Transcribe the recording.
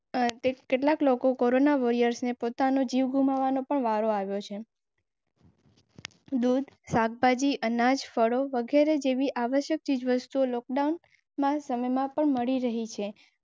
કેટલાક લોકો કોરોના વૉરિયર્સને પોતાનો જીવ ગુમાવવાનો પણ વારો આવ્યો છે.